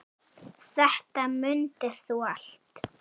Þetta mundir þú allt.